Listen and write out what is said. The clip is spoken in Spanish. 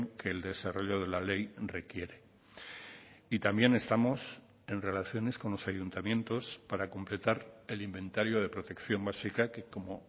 que el desarrollo de la ley requiere y también estamos en relaciones con los ayuntamientos para completar el inventario de protección básica que como